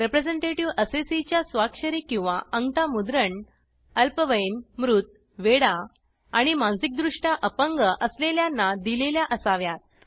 representative assessee च्या स्वाक्षरी किंवा आंगठा मुद्रण अल्पवयीन मृत वेडा आणि मानसिकदृष्ट्या अपंग असलेल्यांना दिलेल्या असाव्यात